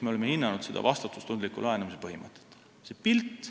Me oleme hinnanud vastutustundliku laenamise põhimõtet.